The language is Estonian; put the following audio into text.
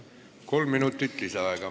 Kolm minutit lisaaega.